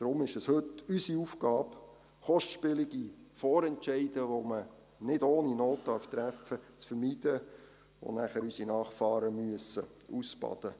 Darum ist es heute unsere Aufgabe, kostspielige Vorentscheide, die man nicht ohne Not treffen darf und die nachher unsere Nachfahren ausbaden müssen, zu vermeiden.